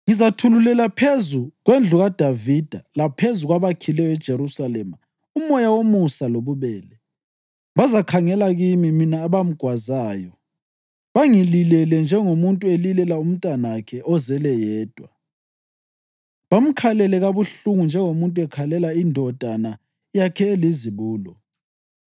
“Ngizathululela phezu kwendlu kaDavida laphezu kwabakhileyo eJerusalema umoya womusa lobubele. Bazakhangela kimi, mina abamgwazayo, bangililele njengomuntu elilela umntanakhe ozelwe yedwa, bamkhalele kabuhlungu njengomuntu ekhalela indodana yakhe elizibulo.